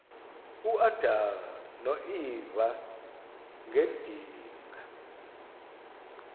uadam noeva ngedinga